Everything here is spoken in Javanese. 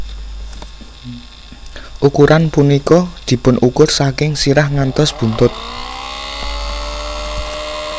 Ukuran punika dipunukur saking sirah ngantos buntut